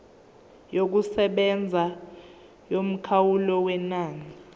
yokusebenza yomkhawulo wenani